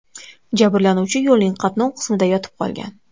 Jabrlanuvchi yo‘lning qatnov qismida yotib qolgan.